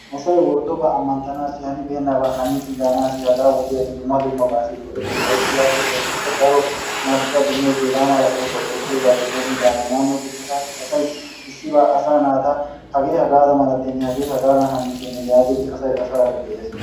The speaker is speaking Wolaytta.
Asay worddoba ammanttanassi, hanibeenaba haniis gaanassi dumma dumma go''eettees, ayssi yaagiyaba gidikko daro marccuwa demmees. hegaa malaa oosuwaa ootiyoogappe dommidaagan yaaniyo gishshatassi asay issibaa asa naata hagee hagaa malatenne, hagee hagadan hanesttene yaagidi asay asaara de'ees.